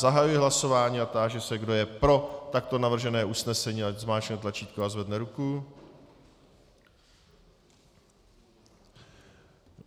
Zahajuji hlasování a táži se, kdo je pro takto navržené usnesení, ať zmáčkne tlačítko a zvedne ruku.